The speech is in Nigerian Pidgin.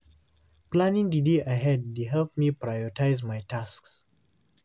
Planning the day ahead dey help me prioritize my tasks.